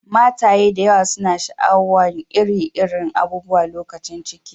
Mataye da yawa suna sha'awan ire-iren abubuwa lokacin ciki.